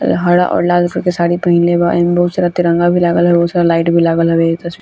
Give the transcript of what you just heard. अ हरा और लाल कलर के साड़ी पहिनले बा एमे बहुत सारा तिरंगा भी लागल हवे और बहुत सारा लाइट